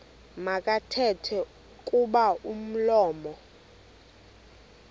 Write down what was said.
makathethe kuba umlomo